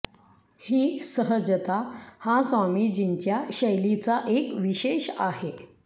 ही सहजता हा स्वामीजींच्या शैलीचा एक विशेष आहे